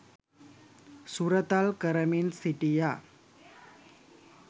සුරතල් කරමින් සිටියා.